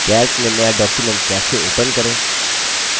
calc में नया document कैसे open करें